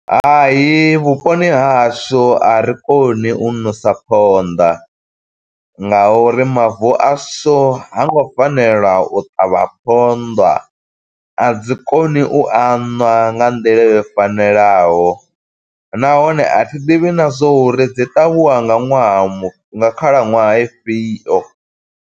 Hai vhuponi ha hashu a ri koni u ṋosa ponḓa nga uri mavu a shu hango fanela u ṱavha phonḓa. A dzi koni u aṋwa nga nḓila yo fanelaho, nahone a thi ḓivhi na zwo uri dzi ṱavhiwa nga ṅwaha mu, nga khalaṅwaha ifhio.